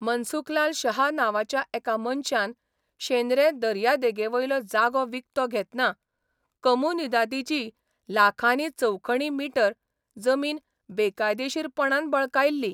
मनसुखलाल शहा नांवाच्या एका मनशान शेंद्रे दर्या देगेवयलो जागो विकतो घेतना कोमुनिदादीची लाखांनी चौखणी मीटर जमीन बेकायदेशीरपणान बळकायल्ली.